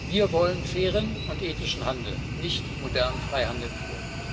Wir wollen fairen und ethischen Handel, nicht modernen Freihandel pur.